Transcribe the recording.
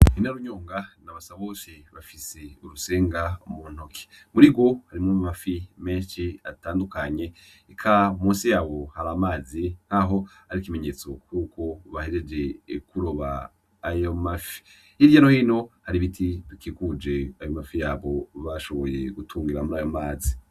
Yinarunyunga na Basabose bafise urusenga m'untoki murigo harimwo amafi meshi atandukanye eka munsi yabo hari amazi nkaho ari ikimetso yuko bahejeje kuroba ayo mafi, Hirya no hino hari ibiti bikikuje ayo mafi yabo bashoboye gutungiramwo murayo mazi.